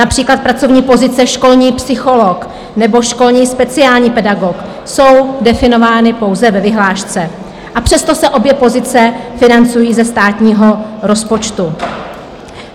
Například pracovní pozice školní psycholog nebo školní speciální pedagog jsou definovány pouze ve vyhlášce, a přesto se obě pozice financují ze státního rozpočtu.